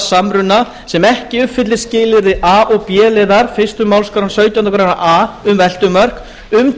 samruna sem ekki uppfyllir skilyrði a og b liðar fyrstu málsgrein sautjándu grein a um veltumörk um